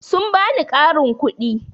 Sun ba ni ƙarin kuɗi.